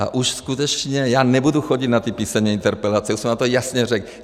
A už skutečně já nebudu chodit na ty písemné interpelace, už jsem vám to jasně řekl.